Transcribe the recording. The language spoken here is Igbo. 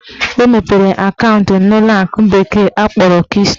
Ọ mepere akaụntụ n'ụlọakụ bekee kpọrọ Keystone bank